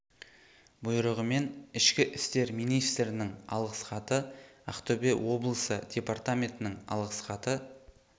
бұйрығымен ішкі істер министрінің алғыс хаты ақтөбе облысы департаментінің алғыс хаты